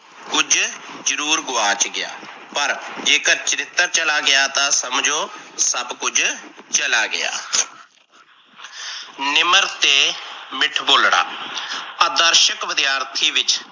ਕੁਝ ਜਰੂਰ ਗੁਆਚ ਗਿਆ। ਪਰ ਜੇਕਰ ਚਰਿਤਰ ਚਲਾ ਗਿਆ ਤਾਂ ਸਮਝੋ ਸੱਭ ਕੁਝ ਚੱਲਾ ਗਿਆ ਨਿਮਰ ਤੇ ਮਿੱਠ ਬੋਲਣਾ ਆਦਰਸ਼ਕ ਵਿਦਿਆਰਥੀ ਵਿੱਚ